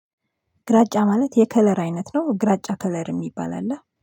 ግራጫ ማለት የከለር አይነት ነው ግራጫ ከለር የሚባል አለ